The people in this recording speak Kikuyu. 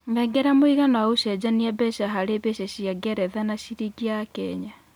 nengera mũigana wa ũcejanĩa mbeca harĩ mbeca cĩa ngeretha na cĩrĩngĩ ya Kenya